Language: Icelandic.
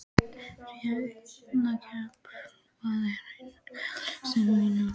Rafnkell, hvað er á innkaupalistanum mínum?